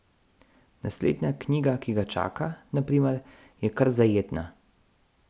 Naslednja knjiga, ki ga čaka, na primer, je kar zajetna.